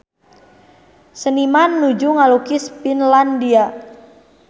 Seniman nuju ngalukis Finlandia